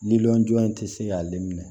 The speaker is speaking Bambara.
Lili jɔn in tɛ se k'ale minɛ